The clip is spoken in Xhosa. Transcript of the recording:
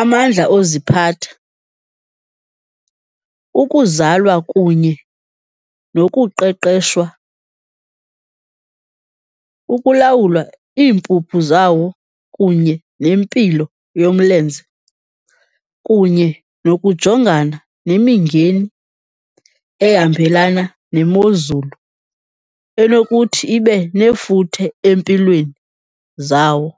amandla oziphatha, ukuzalwa kunye nokuqeqeshwa. Ukulawulwa, iimpuphu zawo kunye nempilo yomlenze, kunye nokujongana nemingeni ehambelana nemozulu enokuthi ibe nefuthe empilweni zawo.